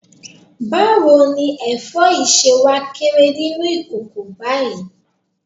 Báwo ni ẹ̀fọ́ yìí ṣe wá kéré nínú ìkòkò báyìí?